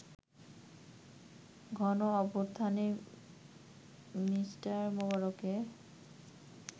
গণঅভ্যুত্থানে Mr. মোবারকের